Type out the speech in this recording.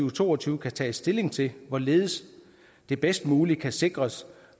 og to og tyve kan tages stilling til hvorledes vi bedst muligt kan sikre os